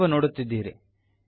ನೀವು ನೋಡುತ್ತಿದ್ದೀರಿ